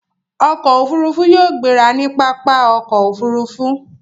Ọkọ̀ òfurufú yóò gbéra ní pápá okoofurufu